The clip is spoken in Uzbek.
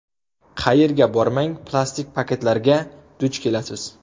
Qayerga bormang plastik paketlarga duch kelasiz.